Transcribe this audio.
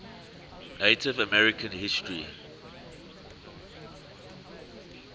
native american history